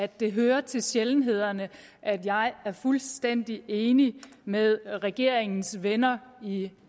at det hører til sjældenhederne at jeg er fuldstændig enig med regeringens venner i